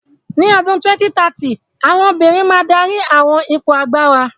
Ní ọdún 2030, àwọn obìnrin máa dárí àwọn ipò agbára.